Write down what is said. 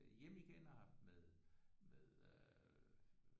Hjem igen og haft med med øh